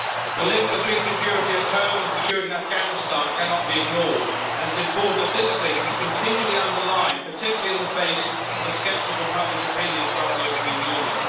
The link between security at home and security in Afghanistan cannot be ignored, and it is important that this link is continually underlined, particularly in the face of a sceptical public opinion throughout the European Union.